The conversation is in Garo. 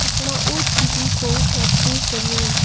pakmao T_V ko wate donenga.